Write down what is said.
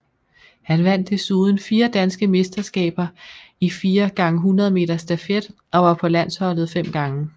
Han vandt desuden fire danske mesterskaber i 4 x 100 meter stafet og var på landsholdet fem gange